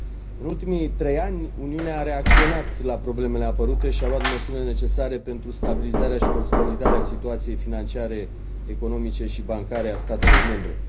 În ultimii trei ani, Uniunea a reacționat la problemele apărute și a luat măsurile necesare pentru stabilizarea și consolidarea situației financiare, economice și bancare a statelor membre.